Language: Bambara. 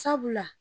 Sabula